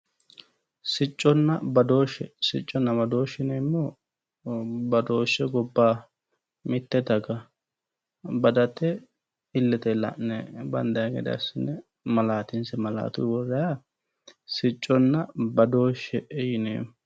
Sicconna badooshshe, sicconna badooshshe yineemmohu badooshshe gobbaaha, mitte daga badate illete la'ne bandayi gede assine malaatinse malaatuyi worraayiiha sicconna badooshshe yineemmo.